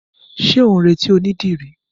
Ṣé ó ń retí onídìrí?